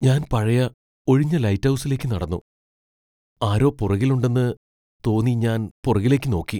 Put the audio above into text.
ഞാൻ പഴയ ഒഴിഞ്ഞ ലൈറ്റ് ഹൗസിലേക്ക് നടന്നു, ആരോ പുറകിൽ ഉണ്ടെന്ന് തോന്നി ഞാൻ പുറകിലേക്ക് നോക്കി.